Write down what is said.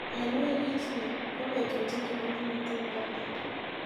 Eng wikit ni ko betut ingiro nemiten robta